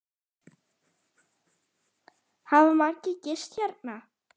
Hafa margir gist hérna?